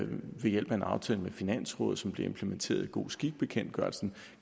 ved hjælp af en aftale med finansrådet som blev implementeret i god skik bekendtgørelsen